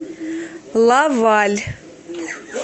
лаваль